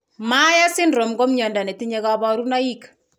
Myhre syndrome ko mnyondo netinye kabarunaik